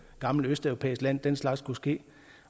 gammelt østeuropæisk land at den slags kan ske